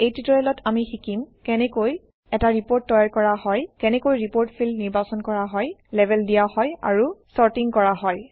এই ট্যুটৰিয়েলত আমি শিকিম কেনেকৈ এটা ৰিপৰ্ট তৈয়াৰ কৰা হয় কেনেকৈ ৰিপৰ্ট ফিল্ড নিৰ্বাচন কৰা হয় লেবেল দিয়া হয় আৰু চৰ্টিং কৰা হয়